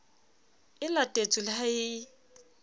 e latetswe le ha e